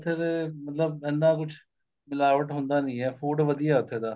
ਉੱਥੇ ਦੇ ਮਤਲਬ ਇੰਨਾ ਕੁੱਝ ਮਿਲਾਵਟ ਹੁੰਦਾ ਨੀਂ ਏ food ਵਧੀਆ ਉੱਥੇ ਦਾ